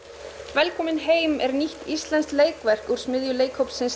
velkominn heim er nýtt íslenskt leikverk úr smiðju leikhópsins